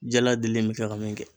Jaladilen in mi kɛ ka min kɛ